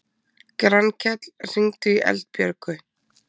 Grankell, hringdu í Eldbjörgu.